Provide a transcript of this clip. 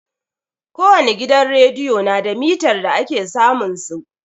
Ko wani gidan rediyo na da mitar da ake samun su.